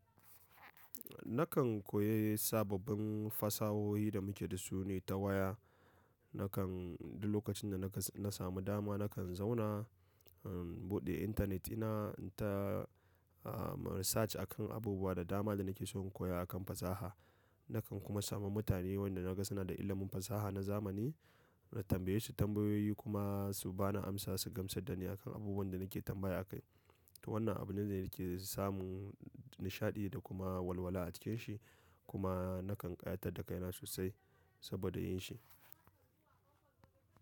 Nakan koyi sababbin fasahohi da muke da su ne ta waya. Nakan duk lokacin da na ka na samu dama nakan zauna, um, buɗe intanetina na research akan abubuwa da dama da nake son koya akan fasaha. Nakan kuma samu mutane wanda na ga suna da ilimin fasaha na zamani, na tambaye su tambayoyi kuma su ba ni amsa, su gamsar da ni akan abubuwan da nake tambaya a kai. To wannan abun ne da yake samun nishaɗi da kuma walwala a cikin shi kuma nakan ƙayatar da kaina sosai saboda yin shi.